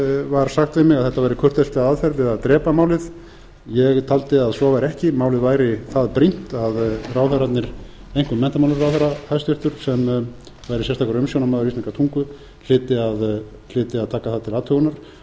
var sagt við mig að þetta væri kurteisleg aðferð við að drepa málið ég taldi að svo væri ekki málið væri það brýnt að ráðherrarnir einkum menntamálaráðherra hæstvirts sem væri sérstakur umsjónarmaður íslenskrar tungu hlyti að taka það til athugunar þess vegna spyr